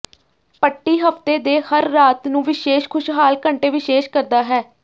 ਪੱਟੀ ਹਫ਼ਤੇ ਦੇ ਹਰ ਰਾਤ ਨੂੰ ਵਿਸ਼ੇਸ਼ ਖੁਸ਼ਹਾਲ ਘੰਟੇ ਵਿਸ਼ੇਸ਼ ਕਰਦਾ ਹੈ